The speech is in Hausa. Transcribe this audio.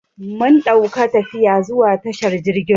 Mun dauka tafiya zuwa tashar jirgin ruwa.